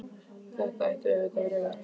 Þetta ætti auðvitað að vera öfugt.